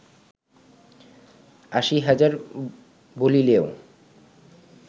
আশী হাজার বলিলেও